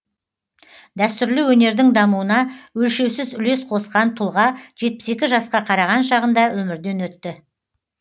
дәстүрлі өнердің дамуына өлшеусіз үлес қосқан тұлға жетпіс екі жасқа қараған шағында өмірден өтті